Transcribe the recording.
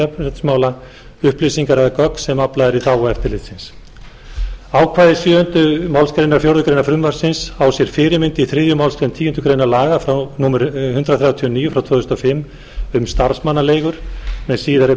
jafnréttismála upplýsingar eða gögn sem aflað er í þágu eftirlitsins ákvæði sjöunda málsgrein fjórðu grein frumvarpsins á sér fyrirmynd í þriðju málsgreinar tíundu grein laga númer hundrað þrjátíu og níu tvö þúsund og fimm um starfsmannaleigur með síðari